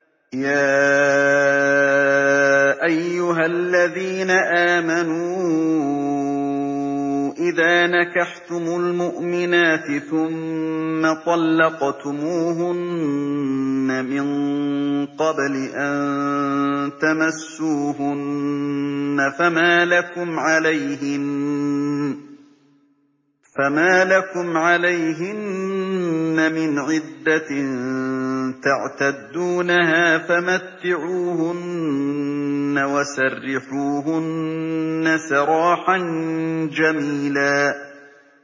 يَا أَيُّهَا الَّذِينَ آمَنُوا إِذَا نَكَحْتُمُ الْمُؤْمِنَاتِ ثُمَّ طَلَّقْتُمُوهُنَّ مِن قَبْلِ أَن تَمَسُّوهُنَّ فَمَا لَكُمْ عَلَيْهِنَّ مِنْ عِدَّةٍ تَعْتَدُّونَهَا ۖ فَمَتِّعُوهُنَّ وَسَرِّحُوهُنَّ سَرَاحًا جَمِيلًا